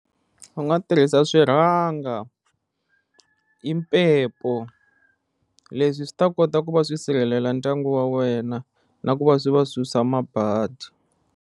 U nga tirhisa swiranga impepho leswi swi ta kota ku va swi sirheleli ndyangu wa wena na ku va swi va susa mabadi.